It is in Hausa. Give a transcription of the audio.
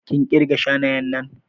Kin ƙirga shanayen nan?